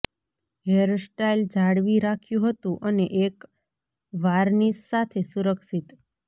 hairstyle જાળવી રાખ્યું હતું અને એક વાર્નિશ સાથે સુરક્ષિત